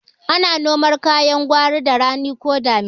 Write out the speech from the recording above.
Ana noman kayan gwari da rani ko damina